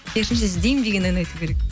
керісінше іздеймін деген ән айту керек